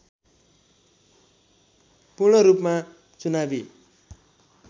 पूर्णरूपमा चुनावी